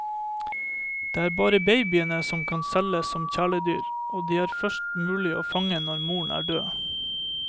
Det er bare babyene som kan selges som kjæledyr, og de er det først mulig å fange når moren er død.